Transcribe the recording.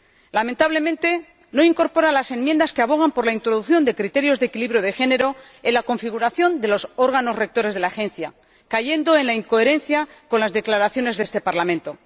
Lamentablemente no incorpora las enmiendas que abogan por la introducción de criterios de equilibrio de género en la configuración de los órganos rectores de la Agencia, cayendo en la incoherencia con las declaraciones de este Parlamento.